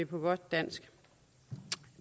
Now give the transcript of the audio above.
på godt dansk